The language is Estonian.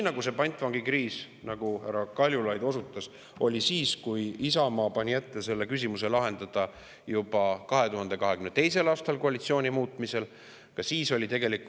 Pantvangikriis, nagu härra Kaljulaid osutas, oli ka siis, kui Isamaa pani juba 2022. aastal koalitsiooni muutmise ette lahendada see küsimus.